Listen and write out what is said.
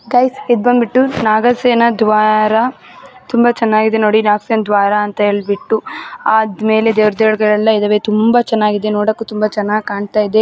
Guys ಇದ್ ಬಂದ್ಬಿಟ್ಟು ನಾಗಸೇನ ದ್ವಾರ. ತುಂಬಾ ಚೆನ್ನಾಗಿದೆ ನೋಡಿ. ನಾಗಸೇನ ದ್ವಾರ ಅಂತ ಹೇಳ್ಬಿಟ್ಟು ಆದ್ಮೇಲೆ ದೇವ್ ದೇವ್ರ್ಗಳೆಲ್ಲಾ ಇದಾವೆ. ತುಂಬಾ ಚೆನ್ನಾಗಿದೆ. ನೋಡಕ್ಕೂ ತುಂಬಾ ಚೆನ್ನಾಗಿ ಕಾಣ್ತಾಯಿದೆ.